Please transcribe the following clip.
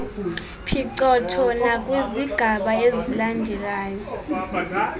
phicotho nakwizigaba ezilandelayo